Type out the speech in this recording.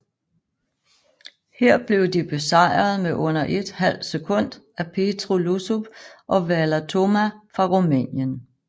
Her blev de besejret med under et halvt sekund af Petru Iosub og Valer Toma fra Rumænien